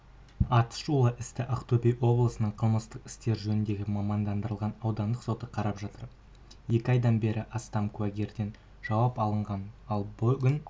атышулы істі ақтөбе облысының қылмыстық істер жөніндегі мамандандырылған ауданаралық соты қарап жатыр екі айдан бері астам куәгерден жауап алынған ал бүгін